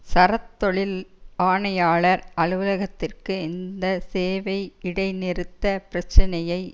சரத் தொழில் ஆணையாளர் அலுவலக்திற்கு இந்த சேவை இடைநிறுத்த பிரச்சினையை